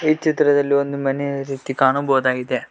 ಈ ಚಿತ್ರದಲ್ಲಿ ಒಂದ್ ಮನೆ ರೀತಿ ಕಾಣಬಹುದಾಗಿದೆ.